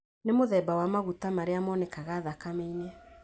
Nĩ mũtheba wa magũta marĩa monekaga thakame-ini